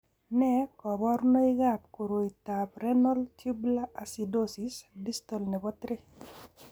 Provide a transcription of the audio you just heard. Nee kabarunoikab koroitoab Renal tubular acidosis, distal nebo 3?